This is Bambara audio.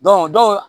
dɔw